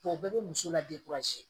O bɛɛ bɛ muso la